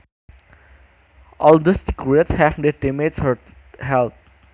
All those cigarettes have damaged her health